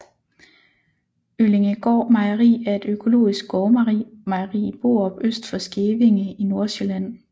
Øllingegaard Mejeri er et økologisk gårdmejeri i Borup øst for Skævinge i Nordsjælland